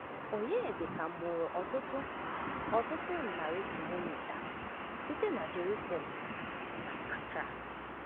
Onyedịka mụrụ ọtụtụ ọtụtụ narị kilomita site n’Jerusalem, n’Accra.